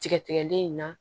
Tigɛ tigɛlen in na